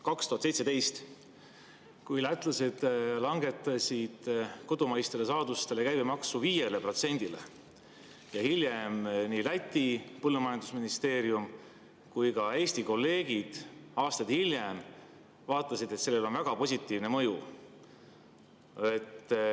2017 langetasid lätlased kodumaiste saaduste käibemaksu 5%‑le ja aastaid hiljem nii Läti põllumajandusministeerium kui ka Eesti kolleegid vaatasid, et sellel on väga positiivne mõju.